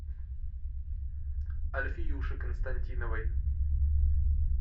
альфиюше константиновой